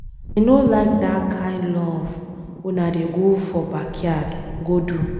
I no like dat kin love una dey go for backyard go do.